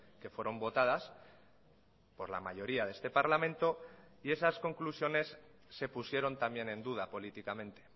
que fueron votadas por la mayoría de este parlamento y esas conclusiones se pusieron también en duda políticamente